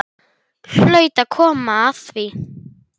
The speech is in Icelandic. Hlaut að koma að því.